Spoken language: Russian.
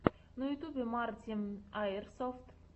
на ютюбе марти аирсофт